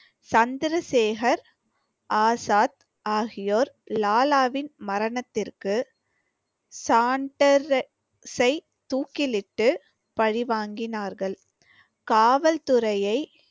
சந்திரசேகர் ஆசாத் ஆகியோர் லாலாவின் மரணத்திற்கு சாண்டர்சை தூக்கிலிட்டு பழி வாங்கினார்கள் காவல்துறையை